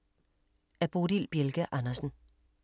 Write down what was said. Af Bodil Bjelke Andersen